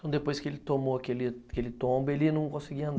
Então, depois que ele tomou aquele tombo, ele não conseguia andar.